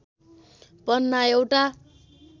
पन्ना एउटा